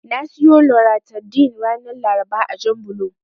Na siyo Loratadin ranar Laraba a Janbulo.